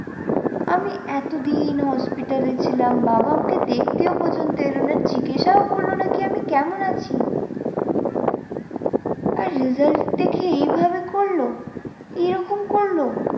আমি এতদিন hospital এ ছিলাম বাবা আমাকে দেখতেও পর্যন্ত এলো না, জিজ্ঞাসাও করলো না কী আমি কেমন আছি। আর result দেখে এইভাবে করলো এরকম করলো?